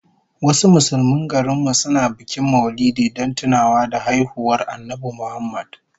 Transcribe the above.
Wasu Musulmin garin mu suna bikin Maulidi don tuna haihuwar Annabi Muhammad